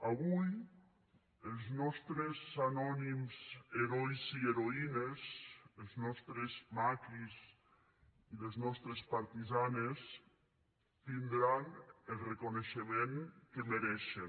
avui els nostres anònims herois i heroïnes els nostres maquis i les nostres partisanes tindran el reconeixement que mereixen